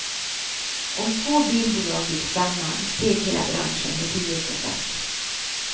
Om två bilbolag gick samman, steg hela branschen med tio procent.